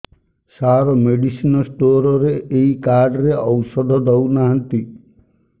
ସାର medicine store ରେ ଏଇ card ରେ ଔଷଧ ଦଉନାହାନ୍ତି